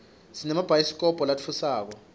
sinemabhayidikobho latfusako